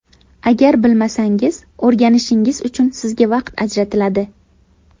Agar bilmasangiz, o‘rganishingiz uchun sizga vaqt ajratiladi.